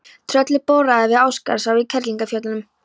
Trölli boraði við Ásgarðsá í Kerlingarfjöllum.